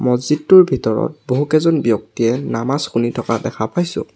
মছজিদটোৰ ভিতৰত বহুকেইজন ব্যক্তিয়ে নামাজ শুনি থকা দেখা পাইছোঁ।